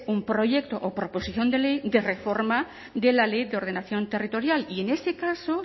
un proyecto o proposición de ley de reforma de la ley de ordenación territorial y en ese caso